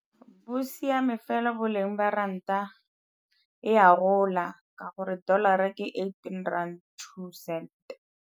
Bo siame fela boleng jwa ranta, e a gola ka gore dollar-ra ke eighteen rand, two cents.